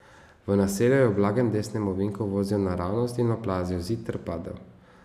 V naselju je v blagem desnem ovinku vozil naravnost in oplazil zid ter padel.